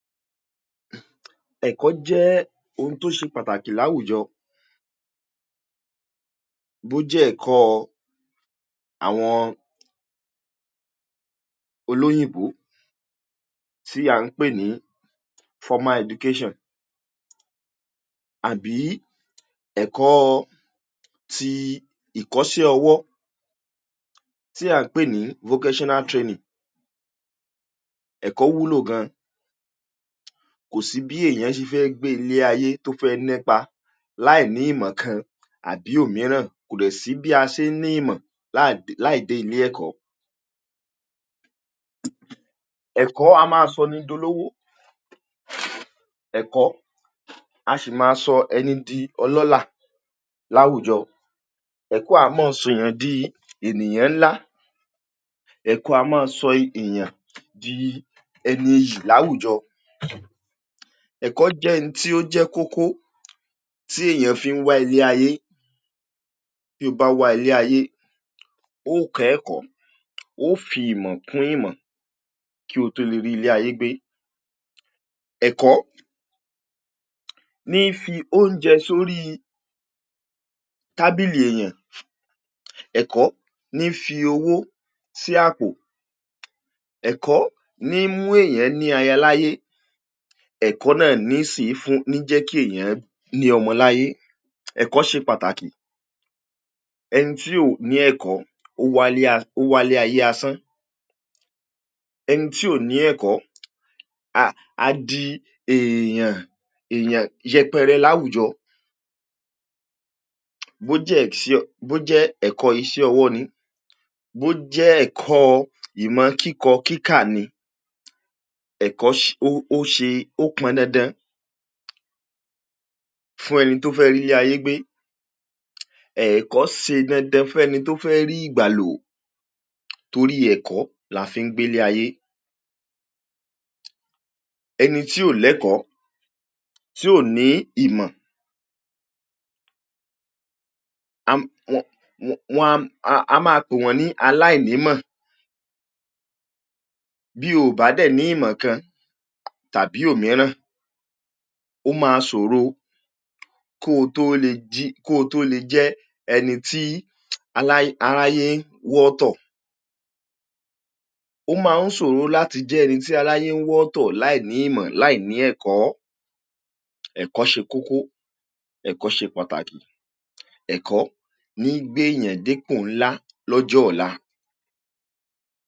Huun, Ẹ̀kọ́ jẹ́ ohun tó ṣe pàtàkì láwùjọ. Bó jẹ́ ẹ̀kọ́ àwọn olóyìnbó tí a ń pè ní Formal Education àbí ẹ̀kọ́ ti iṣẹ́ ọwọ́ tí a ń pè ní Vocational Training. Ẹ̀kọ́ wúlò gan-an. Kò sí bí ẹnìyàn ṣe fẹ́ gbé ilé ayé tó fẹ́ nípa láì ní ìmọ̀ kan àbí omi ìràn. Kò sì bí a ṣe ń ní ìmọ̀ láàìdẹ ilé ẹ̀kọ́. Ẹ̀kọ́ á máa sọ ní di ọlọ́wọ́. Ẹ̀kọ́ á sì máa sọ ẹni di olólà láwùjọ. Ẹ̀kọ́ á máa sọ ẹni di ènìyàn ńlá. Ẹ̀kọ́ á máa sọ ẹnìyàn di ẹni ìyì láwùjọ. Ẹ̀kọ́ jẹ́ ẹni tí ó jẹ́ kókó tí ẹnìyàn fi ń wáyé. Tí o bá wáyé, oò kó ẹ̀kọ́, o fi ìmọ̀ kún ìmọ̀ kí o tó lè rí ilé ayé gbé. Ẹ̀kọ́ ni fi oúnjẹ sórí tàbìlì ẹnìyàn. Ẹ̀kọ́ ni fi owó sí àpò. Ẹ̀kọ́ ni ń mú ẹnìyàn ní àyà l'ọ́láyé. Ẹ̀kọ́ na ni sin fúnni jẹ́ kí ẹnìyàn ní ọmọ l'ọ́láyé. Ẹ̀kọ́ ṣe pàtàkì. Ẹni tí ó ní ẹ̀kọ́, ò wà lé, ò wà lẹ́ ayé asán. Ẹni tí ó ní ẹ̀kọ́, áà di ẹnìyàn ẹyàn yẹpẹrẹ láwùjọ. Bó jẹ́ ṣe, bó jẹ́ ẹ̀kọ́ iṣẹ́ ọwọ́ ni. Bó jẹ́ ẹ̀kọ́ ìmọ̀ kíkọ̀ kíkà ni. Ẹ̀kọ́ o ṣe, ó pọ̀n dandan fún ẹni tó fẹ́ rí ilé ayé gbé. Ẹ̀kọ́ ó ṣe dandan fún ẹni tó fẹ́ rí ìgbàlà, torí ẹ̀kọ́ làá fi ń gbé ilé ayé. Ẹni tí ò lẹ́kọ́, tí kò ní ìmọ̀, á máa pé wọ́n ní aláìní ìmọ̀. Bí o bá dé ní ìmàńkàn tàbí omi ìràn, ó máa ṣòro kó tó lè jí, kó lè jẹ́ ẹni tí aláìnàràyé ń wò tótó. Ó máa n ṣòro láti jẹ́ ẹni tí aláyè ń wò tótó láìní ìmọ̀, láìní ẹ̀kọ́. Ẹ̀kọ́ ṣe kókó. Ẹ̀kọ́ ṣe pàtàkì. Ẹ̀kọ́ ni gbé yín d'ẹkùn ńlá l'ọ́jọ́ ọ̀la.